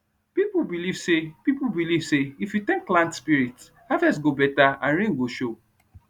people believe say people believe say if you tank land spirit harvest go better and rain go show